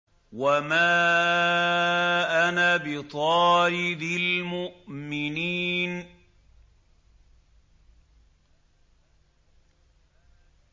وَمَا أَنَا بِطَارِدِ الْمُؤْمِنِينَ